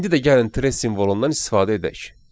İndi də gəlin simvolundan istifadə edək.